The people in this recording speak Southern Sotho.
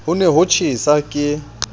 ho ne ho tjhesa ke